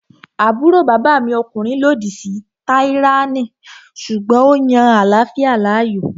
Àbúrò bàbá mi ọkùnrin lòdì sí tíráyánì sùgbọ́n ó yan àláfíà láàyò